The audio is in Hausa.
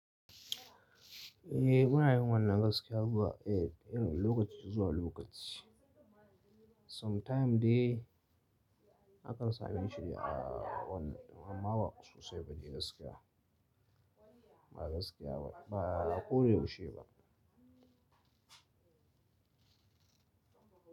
Eh munayin wannan gaskiya zuwa eh lokaci zuwa lokaci sometime dai akan sami shiri a wannan amma wa sosai ba de gaskiya ba gaskiya ba ko da yaushe ba.